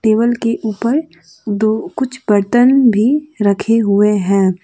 Table के ऊपर दो कुछ बर्तन भी रखे हुए हैं।